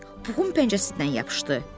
Piglet Puhun pəncəsindən yapışdı.